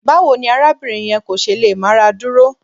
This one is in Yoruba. Báwo ni arábìnrin yẹn kò ṣe lè máradúró?